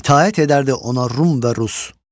itaət edərdi ona Rum və Rus.